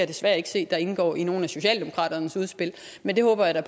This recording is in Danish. desværre ikke se at der indgår i nogen af socialdemokratiets udspil men det håber jeg da